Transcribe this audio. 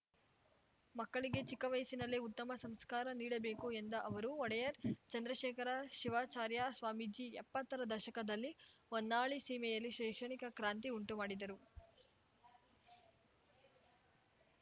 ಮಕ್ಕಳಿಗೆ ಚಿಕ್ಕ ವಯಸ್ಸಿನಲ್ಲೇ ಉತ್ತಮ ಸಂಸ್ಕಾರ ನೀಡಬೇಕು ಎಂದ ಅವರು ಒಡೆಯರ್‌ ಚಂದ್ರಶೇಖರ ಶಿವಾಚಾರ್ಯ ಸ್ವಾಮೀಜಿ ಎಪ್ಪತ್ತರ ದಶಕದಲ್ಲಿ ಹೊನ್ನಾಳಿ ಸೀಮೆಯಲ್ಲಿ ಶೈಕ್ಷಣಿಕ ಕ್ರಾಂತಿ ಉಂಟುಮಾಡಿದರು